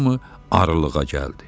Hamı arılığa gəldi.